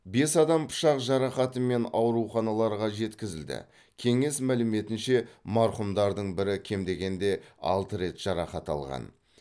бес адам пышақ жарақатымен ауруханаларға жеткізілді кеңес мәліметінше марқұмдардың бірі кем дегенде алты рет жарақат алған